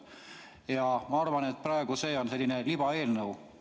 Seega ma arvan, et teie praegune eelnõu on selline libaeelnõu.